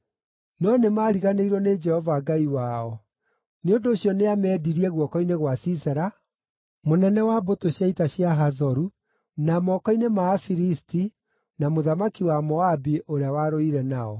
“No nĩmariganĩirwo nĩ Jehova Ngai wao; nĩ ũndũ ũcio nĩameendirie guoko-inĩ gwa Sisera, mũnene wa mbũtũ cia ita cia Hazoru, na moko-inĩ ma Afilisti, na mũthamaki wa Moabi ũrĩa warũire nao.